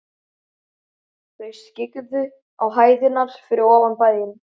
Þau skyggðu á hæðirnar fyrir ofan bæinn.